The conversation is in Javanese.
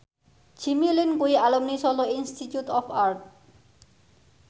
Jimmy Lin kuwi alumni Solo Institute of Art